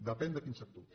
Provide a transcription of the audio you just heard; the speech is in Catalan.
depèn de quins sectors